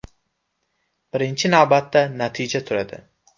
Birinchi navbatda natija turadi.